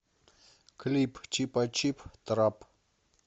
клип чипачип трап